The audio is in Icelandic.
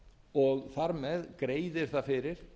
og þar með greiðir það fyrir